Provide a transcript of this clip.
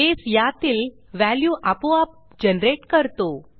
बसे यातील व्हॅल्यू आपोआप जनरेट करतो